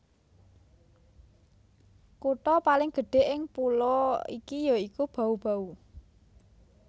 Kutha paling gedhé ing pulo iki ya iku Bau Bau